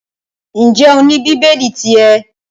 Ǹjẹ́ o ní bíbélì ti ẹ?